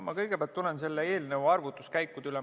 Ma kõigepealt tulen selle eelnõu arvutuskäikude juurde.